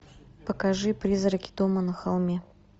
покажи призраки дома на холме